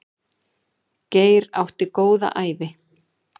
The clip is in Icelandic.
Geir átti góða ævi.